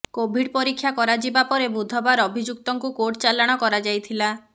Covid ପରୀକ୍ଷା କରାଯିବା ପରେ ବୁଧବାର ଅଭିଯୁକ୍ତଙ୍କୁ କୋର୍ଟ ଚାଲାଣ କରାଯାଇଥିଲା